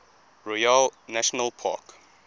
royale national park